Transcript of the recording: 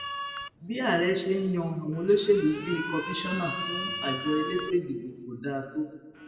bí ààrẹ ṣe ń yan àwọn olóṣèlú bíi kọmíṣánná fún àjọ elétò ìdìbò kò dáa tó